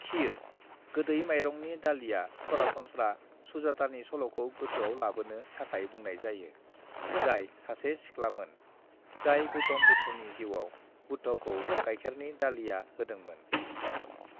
"खीर, गोदै माइरंनि दालिया सरासनस्रा सुजातानि सल'खौ गोसोआव लाबोनो थाखाय बुंनाय जायो, जाय सासे सिख्लामोन, जाय गौतम बुद्धनि जिउआव बुद्धखौ गाइखेरनि दालिया होदोंमोन।"